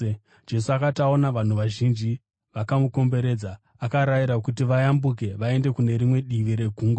Jesu akati aona vanhu vazhinji vakamukomberedza akarayira kuti vayambuke vaende kune rimwe divi regungwa.